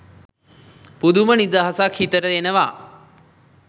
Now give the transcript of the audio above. පුදුම නිදහසක් හිතට එනවා